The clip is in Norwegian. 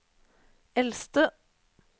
eldste